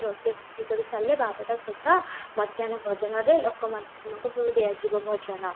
ରୋଷେଇ କରି ସାରିଲେ ବାରଟା ସୁଦ୍ଧା ମାଧ୍ୟାନ ଭୋଜନରେ ଲୋକ ମାନଙ୍କୁ ଦିଆ ଯିବ ଭୋଜନ